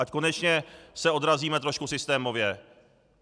Ať se konečně odrazíme trošku systémově.